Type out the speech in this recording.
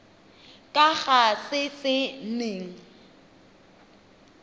ka ga se se neng